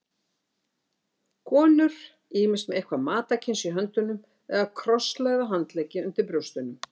Konur ýmist með eitthvað matarkyns í höndunum eða krosslagða handleggi undir brjóstunum.